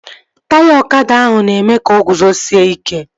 Taya ọkada ahụ na-eme ka o guzosie ike